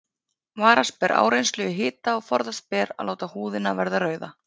Varast ber áreynslu í hita og forðast ber að láta húðina verða rauða.